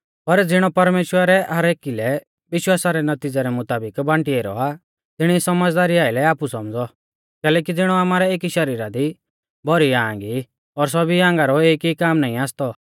कैलैकि ज़िणौ आमारै एकी शरीरा दी भौरी आंग ई और सौभी आंगा रौ एक ई काम नाईं आसतौ